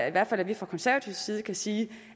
i hvert fald at vi fra konservativ side kan sige